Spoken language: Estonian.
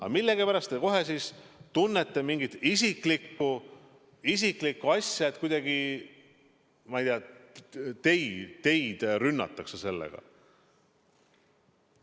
Aga millegipärast te kohe tunnete siin mingit isiklikku asja, et kuidagi teid nagu rünnatakse sellega.